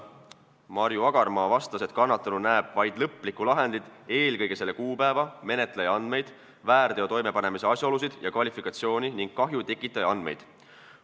Marju Agarmaa vastas, et kannatanu näeb vaid lõplikku lahendit, eelkõige selle kuupäeva, menetleja andmeid, väärteo toimepanemise asjaolusid ja kvalifikatsiooni ning kahju tekitaja andmeid.